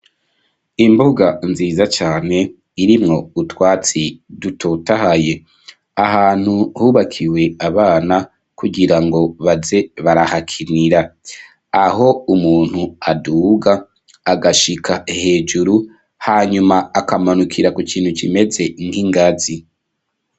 Imbuga, nziza cane, irimwo utwatsi, dutotahaye; ahantu hubakiwe abana, kugira ngo, baze barahakinira; aho umuntu aduga, agashika hejuru, hanyuma, akamanukira ku kintu, kimeze nk'ingazi.